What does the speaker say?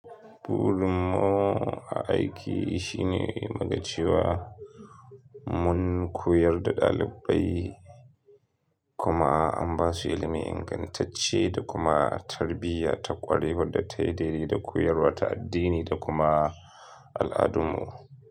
Burinmu a aiki shine muga cewa mun koyar da ɗalibai kuma an ba su ilimi ingantacce da kuma tarbiyya ta ƙware wadda tai daidai da koyarwar ta addini da kuma al'adun mu.